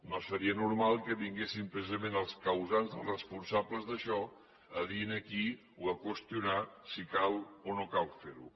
no seria normal que vinguessin precisament els causants els responsables d’això a dir aquí o a qüestionar si cal o no cal fer ho